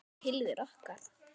Tilvera okkar